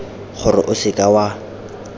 gore o se ka wa